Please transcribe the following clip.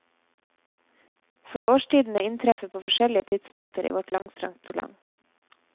For årstidene inntreffer på forskjellige tidspunkter i vårt langstrakte land.